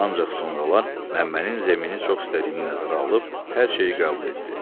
Ancaq sonralar Məmmənin zəmini çox istədiyini nəzərə alıb hər şeyi qəbul etdi.